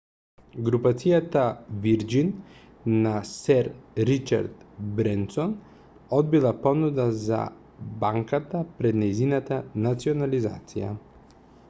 групацијата вирџин на сер ричард бренсон одбила понуда за банката пред нејзината национализација